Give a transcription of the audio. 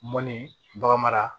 Mɔnibaga mara